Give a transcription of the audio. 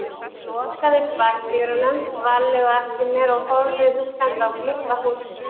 Ég lokaði bakdyrunum varlega á eftir mér og horfði hugsandi á glugga hússins.